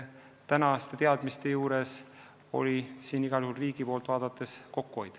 Praeguste teadmiste kohaselt on riigil igal juhul tegu kokkuhoiuga.